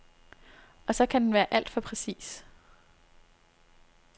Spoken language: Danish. Og så kan den være alt for præcis.